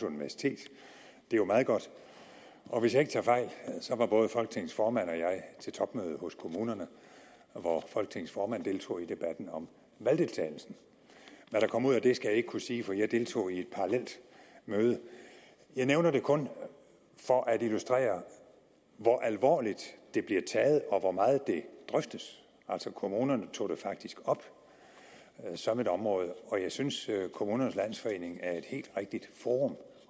universitet det er jo meget godt og hvis jeg ikke tager fejl var både folketingets formand og jeg til topmødet hos kommunerne hvor folketingets formand deltog i debatten om valgdeltagelsen hvad der kom ud af det skal jeg ikke kunne sige for jeg deltog i et parallelt møde jeg nævner det kun for at illustrere hvor alvorligt det bliver taget og hvor meget det drøftes altså kommunerne tog det faktisk op som et område jeg synes at kommunernes landsforening er et helt rigtigt forum